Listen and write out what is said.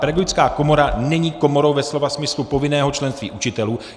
Pedagogická komora není komorou ve slova smyslu povinného členství učitelů.